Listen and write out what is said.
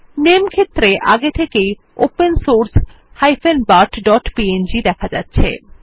নামে ক্ষেত্রে আগে থেকেই ওপেন সোর্স bartpng দেখা যাচ্ছে